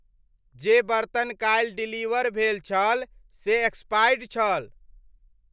जे बर्तन काल्हि डिलीवर भेल छल से एक्सपायर्ड छल।